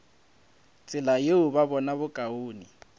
tsela yeo ba bona bokaone